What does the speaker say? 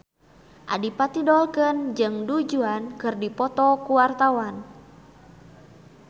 Adipati Dolken jeung Du Juan keur dipoto ku wartawan